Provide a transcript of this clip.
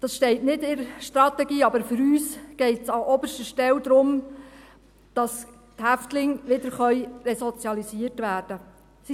Dies steht nicht in der Strategie, aber für uns geht es an oberster Stelle darum, dass die Häftlinge wieder resozialisiert werden können.